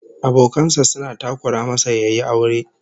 Abokan sa suna takura masa yayi aure